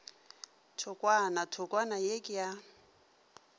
thokwana thokwana ye ke ya